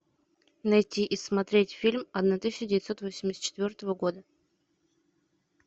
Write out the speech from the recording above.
найти и смотреть фильм одна тысяча девятьсот восемьдесят четвертого года